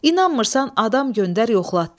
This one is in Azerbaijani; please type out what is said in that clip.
İnanmırsan, adam göndər yoxlatdır.